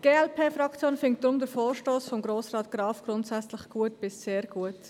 Die glp-Fraktion findet deshalb den Vorstoss von Grossrat Graf grundsätzlich gut bis sehr gut.